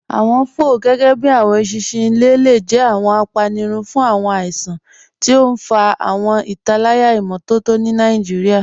Awọn fọ, gẹgẹbi awọn èṣinṣin ilẹ̀, le jẹ̀ awọn àpánírùn fun awọn àìsàn, tí o n fà awọn ìtálàyà imọtọ̀tọ̀ ni Nigeria.